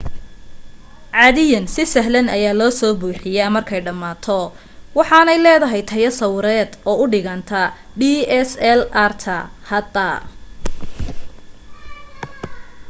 caadiyan si sahlan ayaa loo soo buuxiyaa markay dhamaato waxaanay leedahay tayo sawireed u dhiganta dslr-ta hadda